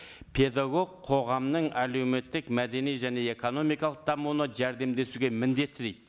педагог қоғамның әлеуметтік мәдени және экономикалық дамуына жәрдемдесуге міндетті дейді